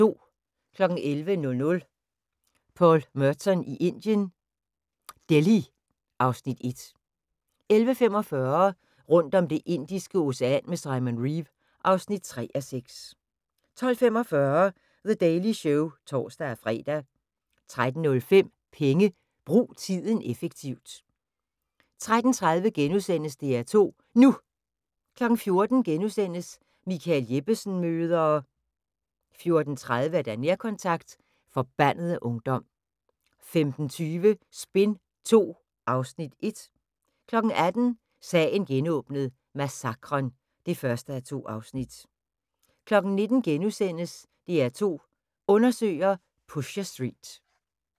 11:00: Paul Merton i Indien - Delhi (Afs. 1) 11:45: Rundt om Det indiske Ocean med Simon Reeve (3:6) 12:45: The Daily Show (tor-fre) 13:05: Penge: Brug tiden effektivt 13:30: DR2 NU * 14:00: Michael Jeppesen møder ...* 14:30: Nærkontakt – Forbandede ungdom 15:20: Spin II (Afs. 1) 18:00: Sagen genåbnet: Massakren (1:2) 19:00: DR2 Undersøger: Pusher Street *